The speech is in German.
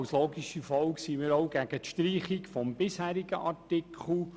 Als logische Folge sind wir auch gegen die Streichung des bisherigen Artikels